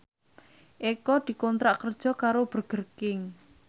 Eko dikontrak kerja karo Burger King